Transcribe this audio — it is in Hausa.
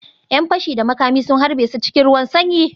‘Yan fashi da makami sun harbe su cikin ruwan sanyi